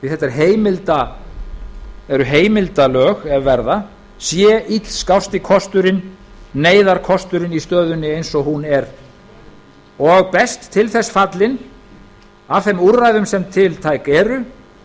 því að þetta eru heimildarlög ef verða sé illskásti kosturinn neyðarkosturinn í stöðunni eins og hún er og best til þess fallinn af þeim úrræðum sem tiltæk eru